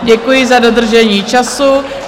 Děkuji za dodržení času.